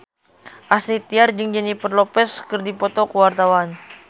Astrid Tiar jeung Jennifer Lopez keur dipoto ku wartawan